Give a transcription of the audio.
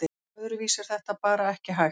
Öðruvísi er þetta bara ekki hægt